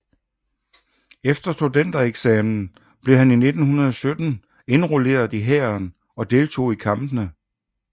Efter studentereksamen blev han i 1917 indrulleret i hæren og deltog i kampene i 1